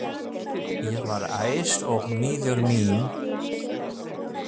Ég var æst og miður mín.